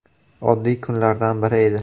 Oddiy kunlardan biri edi.